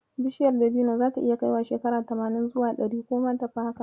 Bishiyar dabino zata iya kaiwa shekara tamanin zuwa ɗari, ko ma tafi haka.